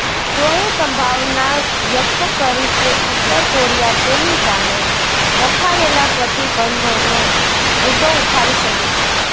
ચોએ સંભાવના વ્યક્ત કરી કે ઉત્તર કોરિયા તેની સામે રખાયેલા પ્રતિંબધોનો મુદ્દો ઉઠાવી શકે છે